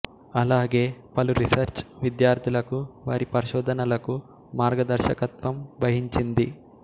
అలాగే పలు రీసెర్చ్ విద్యార్థులకు వారి పరిశోధనలకు మార్గదర్శకత్వం వహించింది